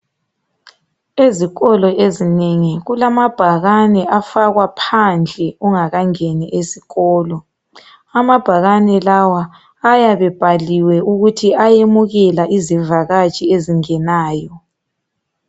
Ezikolo ezinengi, kulamabhakane afakwa phandle ungakangeni ezikolo. Amabhakane lawa ayabe ebhaliwe ukuthi ayemukela izivakatshi ezingenayo.